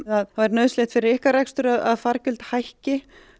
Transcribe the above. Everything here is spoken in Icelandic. nauðsynlegt fyrir ykkar rekstur að fargjöld hækki